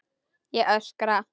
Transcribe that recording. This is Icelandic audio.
Ég öskra.